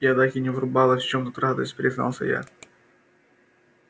я так и не врубалась в чем тут радость признался я